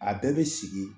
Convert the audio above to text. A bɛɛ bɛ sigi